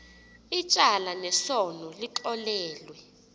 ityala lesono lixolelwe